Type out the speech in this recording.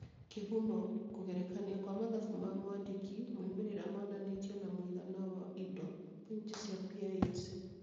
Kĩhumo: Kũgerekania kwa mathabu ma mwandĩki. Moimĩrĩra monanĩtio na mũigana wa indo(pointi cia PISA).